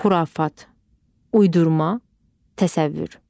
Xurafat, uydurma, təsəvvür.